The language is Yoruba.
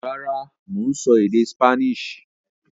Rárá, mò ń sọ èdè Spanish